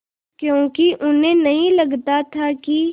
क्योंकि उन्हें नहीं लगता था कि